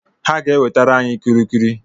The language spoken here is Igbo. Ha ga-ewetara anyị kulikuli.